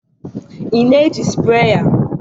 ị na-eji sprayer